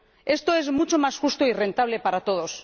Esto es mucho más justo y rentable para todos.